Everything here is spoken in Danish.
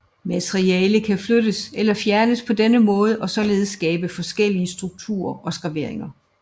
Materiale kan flyttes eller fjernes på denne måde og således skabe forskellige strukturer og skraveringer